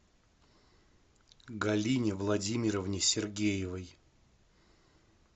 галине владимировне сергеевой